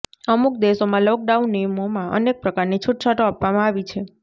અમુક દેશોમાં લોકડાઉન નિયમોમાં અનેક પ્રકારની છૂટછાટો આપવામાં આવી છે